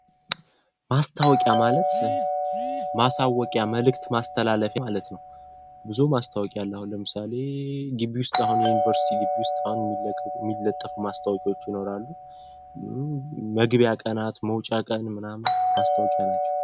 ማስታወቂያ ማለት ማሳወቂያ መልእክት ማስተላለፍ ማለት ነው። ብዙ ማስታወቂያ አለ። አሁን ለምሳሌ ገቢ ውስጥ አሁን የዩኒቨርሲቲ ገቢ ውስጥ አሁን የሚለቅ የሚለጠፉ ማስታወቂያዎች ይኖራሉ። መግቢያ ቀናት፣ መውጫ ቀን ምናምን ማስታወቂያ ናቸው።